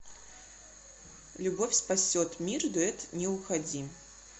любовь спасет мир дуэт не уходи